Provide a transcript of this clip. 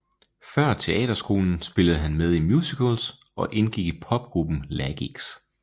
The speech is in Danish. Før teaterskolen spillede han med i musicals og indgik i popgruppen Lagix